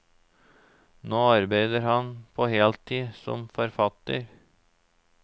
Nå arbeider han på heltid som forfatter.